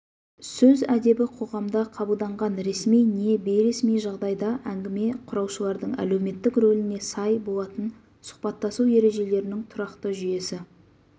сөз әдебі қоғамда қабылданған ресми не бейресми жағдайда әңгіме құраушылардың әлеуметтік рөліне сай болатын сұхбаттасу ережелерінің тұрақты жүйесі